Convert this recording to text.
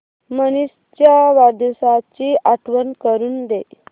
मनीष च्या वाढदिवसाची आठवण करून दे